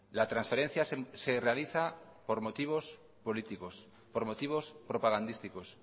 la transferencia se realiza por motivos políticos por motivos propagandísticos